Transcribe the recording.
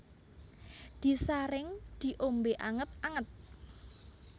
Disaring diombe anget anget